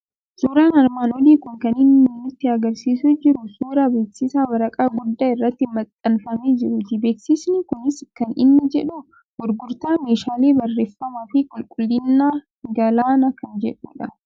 Suuraan armaan olii kun kan inni nutti argisiisaa jiru suuraa beeksisa waraqaa guddaa irratti maxxanfamee juruuti. Beeksisni kunis kan inni jedhu Gurgurtaa meeshaalee barreeffamaa fi Qulqullinaa Galaanaa kan jedhu dha.